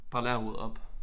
Bare lær at rydde op